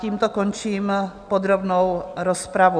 Tímto končím podrobnou rozpravu.